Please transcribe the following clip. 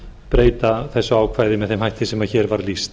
breyta þessu ákvæði með þeim hætti sem hér var lýst